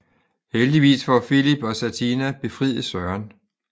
Heldigvis får Filip og Satina befriet Søren